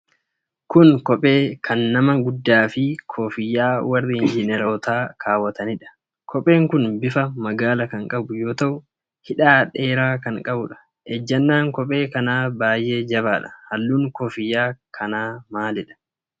Kun kophee kan nama guddaa fi koofiyyaa warri Injinarootaa kaawwatanidha. Kopheen kun bifa magaala kan qabu yoo ta'u, hidhaa dheera kan qabuudha. Ejjannaan kophee kanaa baay'ee jabaadha. Halluun koofiyyaa kana maalidha?